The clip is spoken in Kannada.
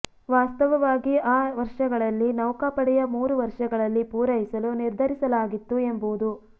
ವಾಸ್ತವವಾಗಿ ಆ ವರ್ಷಗಳಲ್ಲಿ ನೌಕಾಪಡೆಯ ಮೂರು ವರ್ಷಗಳಲ್ಲಿ ಪೂರೈಸಲು ನಿರ್ಧರಿಸಲಾಗಿತ್ತು ಎಂಬುದು